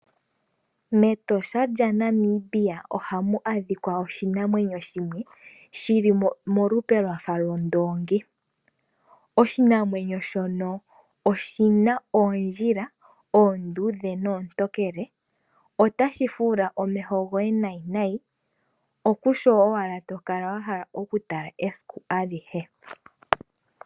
MEtosha lyaNamibia ohamu adhika oshinamwenyo shimwe shili molupe lwafa ondoongi. Oshinamwenyo shono oshina oondjila oonduudhe noontokele. Otashi fuula omeho goye nayi nayi, okusho owala tokala wahala okutala esiku alihe.